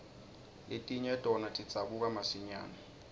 letinye tona tidzabuka masinyane